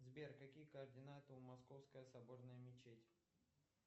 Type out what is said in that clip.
сбер какие координаты у московская соборная мечеть